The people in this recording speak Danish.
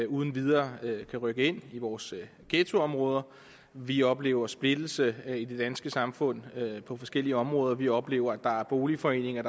uden videre kan rykke ind i vores ghettoområder vi oplever splittelse i det danske samfund på forskellige områder vi oplever at der er boligforeninger